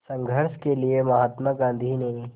संघर्ष के लिए महात्मा गांधी ने